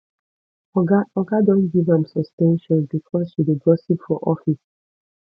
oga oga don give am suspension because she dey gossip for office